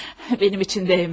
Benim için değməz.